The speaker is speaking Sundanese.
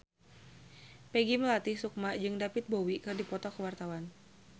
Peggy Melati Sukma jeung David Bowie keur dipoto ku wartawan